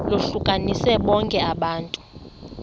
lohlukanise bonke abantu